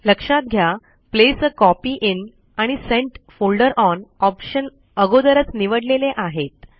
लक्षात घ्या place a copy in आणि सेंट फोल्डर ओन ऑप्शन अगोदरच निवडलेले आहेत